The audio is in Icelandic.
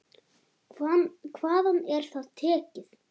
Hvaðan er það tekið?